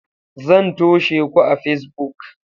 Zan toshe ku a Facebook.